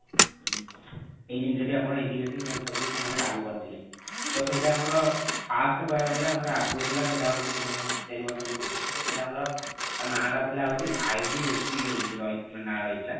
ଏଇ ଜିନିଷ ଟି ଆପଣ integrating health service ସେମାନେ ଲାଗୁ କରିଥିଲେ ତ ସେଇଟା ଆମର first କହିବାକୁ ଗଲେ ଆମର ଆଗରୁ ଥିଲା ସେଇଟା ହୋଉଛି ମାନେ ଚାରି ବର୍ଷ ପୂର୍ବରୁ ସେଟା ଥିଲା ଆମର ତା ନା ଟା ଥିଲା ହଉଛି ଆମର IDSP ରହୁଛି ନା ରହିଥିଲା।